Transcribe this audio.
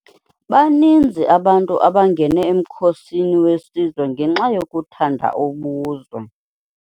Baninzi abantu abangene emkhosini wesizwe ngenxa yokuthanda ubuzwe.